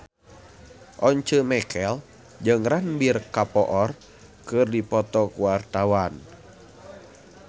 Once Mekel jeung Ranbir Kapoor keur dipoto ku wartawan